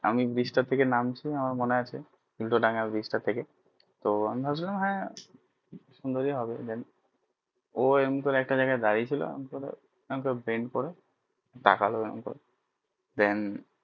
আমি bridge তা থেকে নামছি আমার মনে আছে উল্টো ডাঙ্গা bridge টা থেকে তো আমি ভাবছিলাম হ্যাঁ সুন্দরী ভবে then ও এরম করে একটা জায়গায় দাঁড়িয়ে ছিল